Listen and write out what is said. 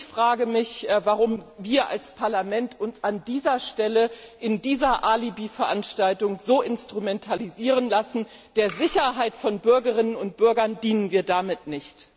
Ich frage mich, warum wir als Parlament uns an dieser Stelle in dieser Alibiveranstaltung so instrumentalisieren lassen, der Sicherheit von Bürgerinnen und Bürger dienen wir damit nicht.